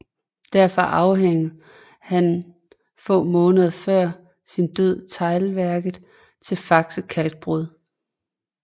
Derfor afhændede han få måneder før sin død teglværket til Faxe Kalkbrud